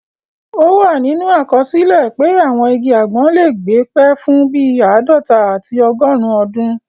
Ó wà nínú àkọsílẹ̀ pé àwọn igi àgbọn lè gbé pẹ́ fún bíi àádọta àti ọgọrùn ọdún